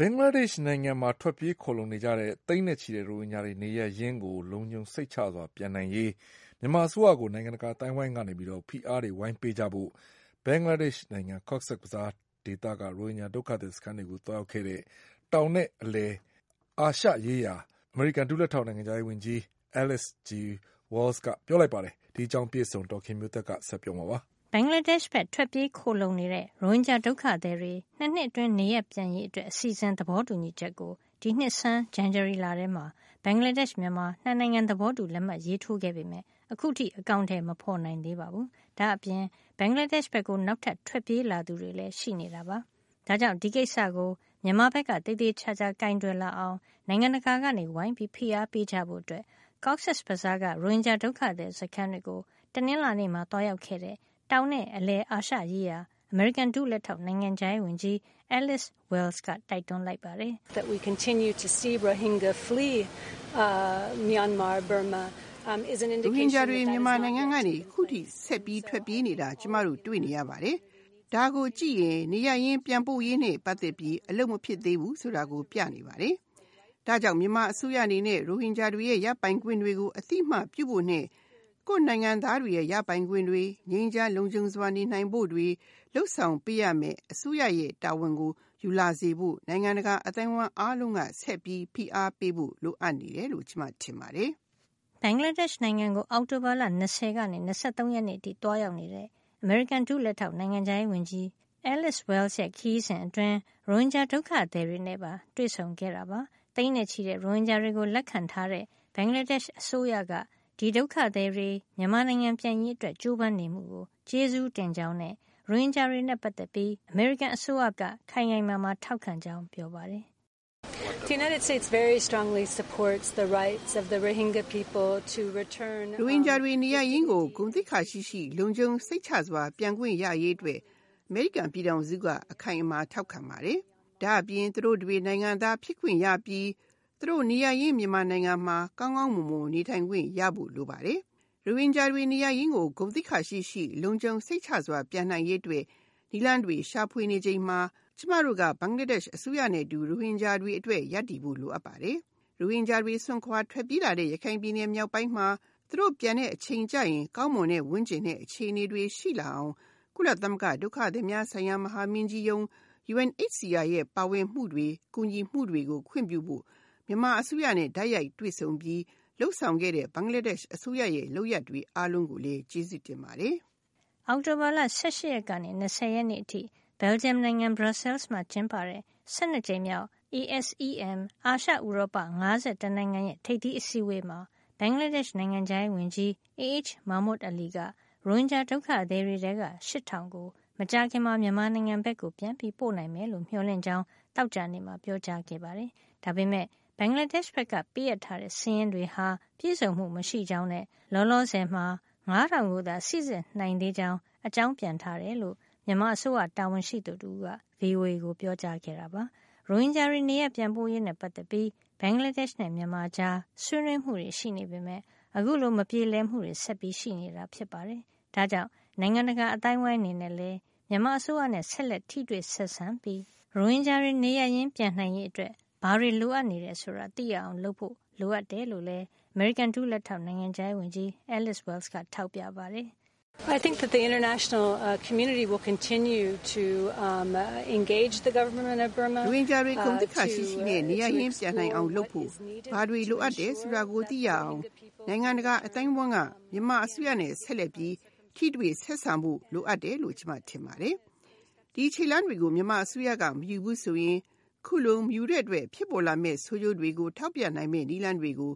ဘင်္ဂလားဒေ့ရှ်နိုင်ငံဘက်ကို ထွက်ပြေးခိုလှုံနေတဲ့ သိန်းနဲ့ချီတဲ့ ရိုဟင်ဂျာတွေ နေရပ်ရင်းလုံခြုံစိတ်ချစွာ ပြန်နိုင်ရေးအတွက် မြန်မာအစိုးရကို နိုင်ငံတကာ အသိုင်းအဝိုင်းကနေ ဝိုင်းဝန်းဖိအားပေးကြဖို့ ဘင်္ဂလားဒေ့ရှ် နိုင်ငံ Cox’s Bazar က ရိုဟင်ဂျာ ဒုက္ခသည်စခန်းတွေကို သွားရောက်ခဲ့တဲ့ တောင်နဲ့ အလယ်အာရှရေးရာ အမေရိကန်ဒုလက်ထောက် နိုင်ငံခြားရေးဝန်ကြီး Alice G. Wells ကပြောကြားလိုက်ပါတယ်။ အပြည့်အစုံကို ဒေါ်ခင်မျိုးသက်က ပြောပြပေးမှာပါ။ ဘင်္ဂလားဒေ့ရှ်ဘက် ထွက်ပြေးခိုလှုံနေတဲ့ ရိုဟင်ဂျာ ဒုက္ခသည်တွေ ၂ နှစ်အတွင်း နေရပ်ပြန်ရေးအတွက်အစီအစဉ် သဘောတူညီချက် ကို ဒီနှစ်ဆန်း ဇန်နဝါရီလထဲမှာ ဘင်္ဂလားဒေ့ရှ် မြန်မာ ၂ နိုင်ငံ သဘောတူလက်မှတ်ရေးထိုးခဲ့ပေမယ့် အခုထိ အကောင်ထည် မဖေါ်နိုင်သေးပါဘူး။ ဒါ့အပြင် ဘင်္ဂလားဒေ့ရှ်ဘက်ကို နောက်ထပ်ထွက်ပြေးလာသူတွေလည်း ရှိနေတာပါ။ ဒါ့ကြောင့် ဒီကိစ္စကို မြန်မာဘက်က သေသေချာချာ ကိုင်တွယ်လာအောင် နိုင်ငံတကာက ဝိုင်းပြီး ဖိအားပေးကြဖို့ Cox’s Bazar က ရိုဟင်ဂျာ ဒုက္ခသည်စခန်းတွေကို တနင်္လာနေ့မှာ သွားရောက်ခဲ့တဲ့ တောင်နဲ့ အလယ်အာရှရေးရာ အမေရိကန် ဒုလက်ထောက် နိုင်ငံခြားရေးဝန်ကြီး Alice G. Wells က တိုက်တွန်းလိုက်ပါတယ်။ "ရိုဟင်ဂျာတွေ မြန်မာနိုင်ငံကနေ အခုထိဆက်ပြီး ထွက်ပြေးလာနေတာကို ကျမတို့ တွေ့နေရပါတယ်။ ဒါကိုကြည့်ရင် နေရပ်ရင်း ပြန်ပို့ရေးနဲ့ ပတ်သက်ပြီး အလုပ်မဖြစ်သေးဘူး ဆိုတာကို ပြနေပါတယ်။ ဒါကြောင့် မြန်မာအစိုးရအနေနဲ့ ရိုဟင်ဂျာတွေရဲ့ ရပိုင်ခွင့်တွေကို အသိမှတ်ပြုဖို့နဲ့ ကိုယ့်နိုင်ငံသားတွေရဲ့ ရပိုင်ခွင့်တွေ၊ ငြိမ်းချမ်း လုံခြုံစွာနေနိုင်ဖို့တွေ လုပ်ဆောင်ပေးရမယ့် အစိုးရရဲ့ တာဝန်ကိုယူလာစေဖို့ နိုင်ငံတကာအသိုင်းအဝိုင်းအားလုံးက ဆက်ပြီးဖိအားပေးဖို့ လိုအပ်တယ်လို့ ကျမထင်ပါတယ်။” ဘင်္ဂလားဒေ့ရှ်နိုင်ငံကို အောက်တိုဘာလ ၂၀ ကနေ ၂၃ ရက်နေ့အထိ သွားရောက်နေတဲ့ အမေရိကန် ဒုလက်ထောက် နိုင်ငံခြားရေးဝန်ကြီး Alice G. Wells ရဲ့ ခရီးစဉ်အတွင်း ရိုဟင်ဂျာ ဒုက္ခသည်တွေနဲ့ပါ တွေ့ဆုံခဲ့တာပါ။ သိန်းနဲ့ချီတဲ့ ရိုဟင်ဂျာတွေကို လက်ခံထားတဲ့ ဘင်္ဂလားဒေ့ရှ် အစိုးရက ဒီဒုက္ခသည်တွေ မြန်မာနိုင်ငံပြန်နိုင်ရေး ကြိုးပမ်းနေမှုတွေ အတွက် ကျေးဇူးတင်ကြောင်းနဲ့ ရိုဟင်ဂျာတွေနဲ့ ပတ်သက်ပြီး အမေရိကန် အစိုးရက ခိုင်ခိုင်မာမာ ထောက်ခံကြောင်း ပြောပါတယ်။ “ရိုဟင်ဂျာတွေ နေရပ်ရင်းကို ဂုဏ်သိက္ခာရှိရှိ လုံခြုံစိတ်ချစွာ ပြန်ခွင့်ရရေးအတွက် အမေရိကန်ပြည်ထောင်စုက ခိုင်ခိုင်မာမာ ထောက်ခံပါတယ်။ ဒါ့အပြင် သူတို့တွေ နိုင်ငံသားဖြစ်ခွင့်ရပြီး သူတို့ နေရပ်ရင်း မြန်မာနိုင်ငံမှာ ကောင်းကောင်းမွန်မွန် နေခွင့်ရဖို့ လိုပါတယ်။ ရိုဟင်ဂျာတွေ နေရပ်ရင်းကို ဂုဏ်သိက္ခာရှိရှိ လုံခြုံစိတ်ချစွာ ပြန်နိုင်ရေး အတွက် နည်းလမ်းတွေ ရှာနေချိန်မှာ ကျမတို့က ဘင်္ဂလားဒေ့ရှ် အစိုးရနဲ့အတူ ရိုဟင်ဂျာတွေ အတွက်ရပ်တည်ဖို့ လိုအပ်ပါတယ်။ ရိုဟင်ဂျာတွေ စွန့်ခွါထွက်ပြေးလာတဲ့ ရခိုင်ပြည်နယ်မြောက်ပိုင်းမှာ သူတို့ပြန်တဲ့အချိန်ကျရင် ကောင်းမွန်တဲ့ ဝန်းကျင်နဲ့ အခြေအနေတွေရှိလာအောင် ကုလသမဂ္ဂ ဒုက္ခသည်များဆိုင်ရာ မဟာမင်းကြီးရုံး UNHCR ရဲ့ ပါဝင်မှုတွေ ကူညီမှုတွေကို ခွင့်ပြုဖို့ မြန်မာအစိုးရနဲ့ တိုက်ရိုက်တွေ့ဆုံပြီး လုပ်ဆောင်ခဲ့တဲ့ ဘင်္ဂလားဒေ့ရှ် အစိုးရရဲ့ လုပ်ရပ်တွေအားလုံးကို ကျေးဇူးတင်ပါတယ်။” အောက်တိုဘာလ ၁၈ ရက်ကနေ ၂၀ ရက်အထိ Belgium နိုင်ငံ Brussels မှာ ကျင်းပတဲ့ ၁၂ ကြိမ်မြောက် ASEM အာရှ ဥရောပ ၅၁ နိုင်ငံရဲ့ ထိပ်သီး အစည်းအဝေးမှာ ဘင်္ဂလားဒေ့ရှ် နိုင်ငံခြားရေးဝန်ကြီး AH Mahmood Ali က ရိုဟင်ဂျာဒုက္ခသည် တွေထဲက ရှစ်ထောင်ကို မကြာခင်မှာ မြန်မာနိုင်ငံဘက်ကို ပြန်ပို့နိုင်မယ်လို့ မျှော်လင့်ကြောင်း သောကြာနေ့က ပြောပါတယ်။ ဒါပေမယ့် ဘင်္ဂလားဒေ့ရှ်ဘက်က ပေးအပ်တဲ့စာရင်းတွေဟာ ပြည့်စုံမှု မရှိကြောင်းနဲ့ လောလောဆယ်မှာ ငါးထောင်ကိုသာ စိစစ်နိုင်သေး ကြောင်း အကြောင်းပြန်ထားတယ်လို့ မြန်မာအစိုးရတာဝန်ရှိသူတဦးက VOA ကိုပြောကြားခဲ့တာပါ။ ရိုဟင်ဂျာတွေ နေရပ်ပြန်ပို့ရေး နဲ့ပတ်သက်ပြီး ဘင်္ဂလားဒေ့ရှ်နဲ့ မြန်မာကြား ဆွေးနွေးမှုတွေ ရှိနေပေမယ့် အခုလို မပြေလည်မှုတွေ ဆက်ပြီးရှိနေတာ ဖြစ်ပါတယ်။ ဒါ့ကြောင့် နိုင်ငံတကာ အသိုင်းအဝိုင်းအနေနဲ့လည်း မြန်မာအစိုးရနဲ့ ဆက်လက် ထိတွေ့ဆက်ဆံပြီး ရိုဟင်ဂျာတွေ နေရပ်ရင်း ပြန်နိုင်ရေးအတွက် ဘာတွေ လိုအပ်နေတယ်ဆိုတာ သိရအောင် လုပ်ဖို့ လိုအပ်တယ်လို့လည်း အမေရိကန် ဒုလက်ထောက် နိုင်ငံခြားရေးဝန်ကြီး Alice Wells ကထောက်ပြပါတယ်။ “ရိုဟင်ဂျာတွေ ဂုဏ်သိက္ခာ ရှိရှိနဲ့ နေရပ်ရင်းပြန်နိုင်အောင် လုပ်ဖို့ ဘာတွေ လိုအပ်တယ်ဆိုတာကို သိရအောင် နိုင်ငံတကာ အသိုင်းအဝိုင်းက မြန်မာအစိုးရနဲ့ ဆက်လက်ပြီး ထိတွေ့ဆက်ဆံဖို့ လိုတယ်လို့ ကျမထင်ပါတယ်။ ဒီခြေလှမ်းတွေကို မြန်မာအစိုးရက မယူဘူး ဆိုရင် ခုလိုမယူတဲ့အတွက် ဖြစ်ပေါ်လာမယ့် ဆိုးကျိုးတွေကို ထောက်ပြနိုင်မယ့် နည်းလမ်းတွေကို